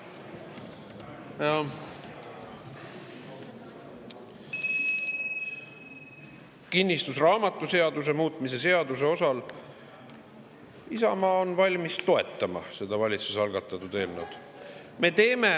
Kinnistusraamatuseaduse muutmise seaduse kohta Isamaa on valmis toetama seda valitsuse algatatud eelnõu.